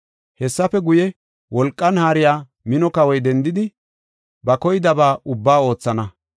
“Hessafe guye, wolqan haariya mino kawoy dendidi, ba koydaba ubbaa oothana.